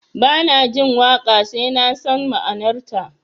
Ba na jin waƙa sai na san ma'anarta